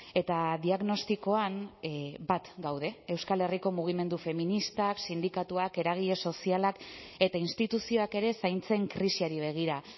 eta diagnostikoan bat gaude euskal herriko mugimendu feministak sindikatuak eragile sozialak eta instituzioak ere zaintzen krisiari begira